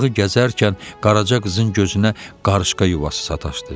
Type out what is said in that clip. Bağı gəzərkən Qaraca qızın gözünə qarışqa yuvası sataşdı.